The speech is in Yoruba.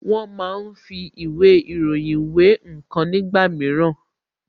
Wón máa ń fi ìwé ìròyìn wé ǹkan nígbà mìíràn